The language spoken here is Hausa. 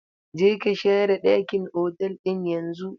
Je ka share ɗakin otal ɗin yanzu!